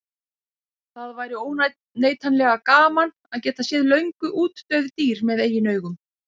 Það væri óneitanlega gaman að geta séð löngu útdauð dýr með eigin augum.